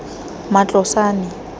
matlosane